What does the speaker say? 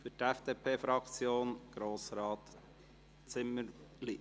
– Für die FDP-Fraktion: Grossrat Zimmerli.